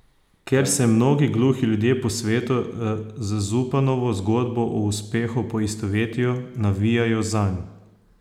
Ker se mnogi gluhi ljudje po svetu z Zupanovo zgodbo o uspehu poistovetijo, navijajo zanj.